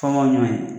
Kɔngɔ ɲɔ ye